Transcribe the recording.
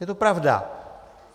Je to pravda.